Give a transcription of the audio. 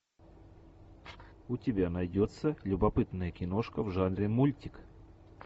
у тебя найдется любопытная киношка в жанре мультик